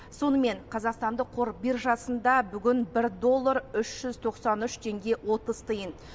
сонымен қазақстандық қор биржасында бүгін бір доллар үш жүз тоқсан үш теңге отыз тиын